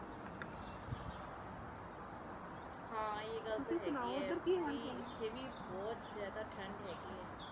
ਹਾ ਇਹ ਗੱਲ ਤਾ ਹੇਗੀ ਐ ਇਥੇ ਵੀ ਬਹੁਤ ਜ਼ਯਾਦਾ ਠੰਡ ਹੇਗੀ ਐ